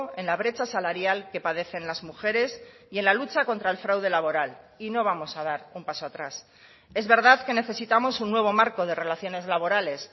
en la brecha salarial que padecen las mujeres y en la lucha contra el fraude laboral y no vamos a dar un paso atrás es verdad que necesitamos un nuevo marco de relaciones laborales